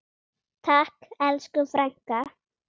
Takk elsku frænka.